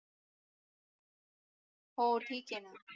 हो ठीक आहे णा